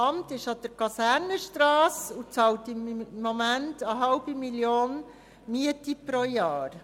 Letzteres befindet sich an der Kasernenstrasse und bezahlt im Moment eine 0,5 Mio. Franken Miete pro Jahr.